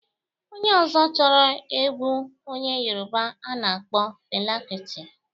Onye ọzọ chọrọ egwu onye Yoroba a na-akpọ Fela kuti.